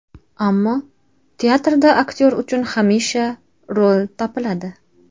Ammo teatrda aktyor uchun hamisha rol topiladi.